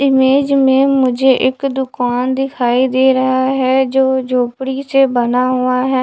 Image में मुझे एक दुकान दिखाई दे रहा है जो झोपड़ी से बना हुआ है।